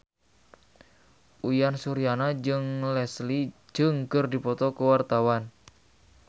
Uyan Suryana jeung Leslie Cheung keur dipoto ku wartawan